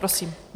Prosím.